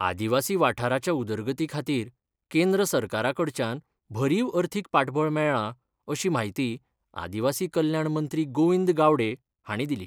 आदिवासी वाठाराच्या उदरगती खातीर केंद्र सरकारा कडच्यान भरीव अर्थिक पाठबळ मेळ्ळां अशी म्हायती आदिवासी कल्याण मंत्री गोविंद गावडे हांणी दिली.